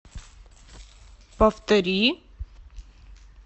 повтори